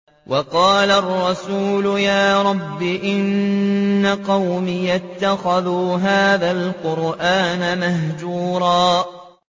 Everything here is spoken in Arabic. وَقَالَ الرَّسُولُ يَا رَبِّ إِنَّ قَوْمِي اتَّخَذُوا هَٰذَا الْقُرْآنَ مَهْجُورًا